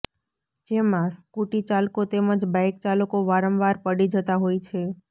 જેમાં સ્કૂટી ચાલકો તેમજ બાઇક ચાલકો વારંવાર પડી જતા હોય છે